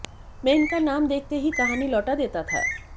मैं इनका नाम देखते ही कहानी लौटा देता था